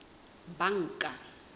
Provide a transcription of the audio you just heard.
banka